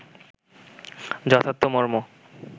যথার্থ মর্ম